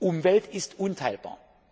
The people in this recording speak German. Umwelt ist unteilbar.